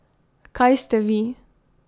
Kaj ste vi?